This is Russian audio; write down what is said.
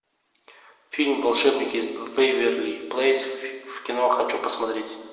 фильм волшебники из вэйверли плэйс в кино хочу посмотреть